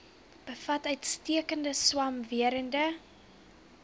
bevat uitstekende swamwerende